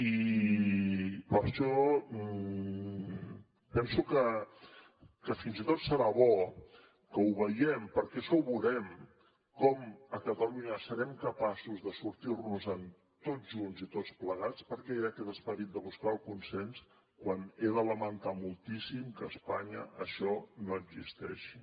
i per això penso que fins i tot serà bo que ho veiem perquè això ho veurem com a catalunya serem capaços de sortir nos en tots junts i tots plegats perquè hi ha aquest esperit de buscar el consens quan he de lamentar moltíssim que a espanya això no existeixi